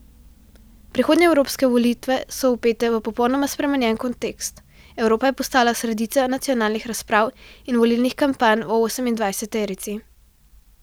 Prihodnje evropske volitve so vpete v popolnoma spremenjen kontekst, Evropa je postala sredica nacionalnih razprav in volilnih kampanj v osemindvajseterici.